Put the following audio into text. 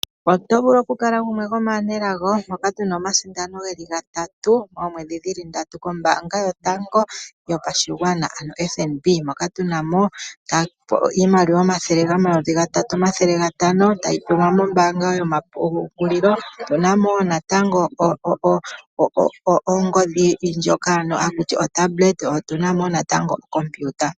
Oto vulu oku kala gumwe gomaanelago moka tuna omasinda geli gatatu. Omwedhi dhili ndatu kombanga yotango yopashigwana ano FNB. Moka tuna po iimaliwa omathele omayovi gatatu omathele gatano tayi tilwa mombaanga yoma pungulilo. Otuna mo wo natango ongodhi ndjoka haku ti otablet otuna mo wo natango ocomputer.